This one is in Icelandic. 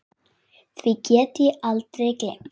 Því get ég aldrei gleymt.